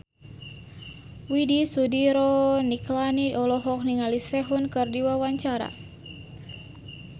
Widy Soediro Nichlany olohok ningali Sehun keur diwawancara